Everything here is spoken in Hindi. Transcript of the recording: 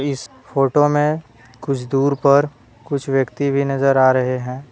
इस फोटो में कुछ दूर पर कुछ व्यक्ति भी नजर आ रहे हैं।